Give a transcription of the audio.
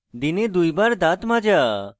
দিনে দুইবার দাঁত মাজা